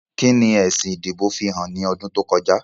Kí ni èsì ìdìbò fihàn ní ọdún tó kọjá?